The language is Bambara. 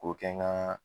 K'o kɛ n ka